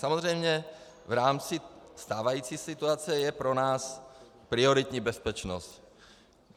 Samozřejmě v rámci stávající situace je pro nás prioritní bezpečnost.